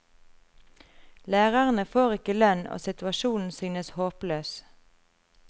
Lærerne får ikke lønn og situasjonen synes håpløs.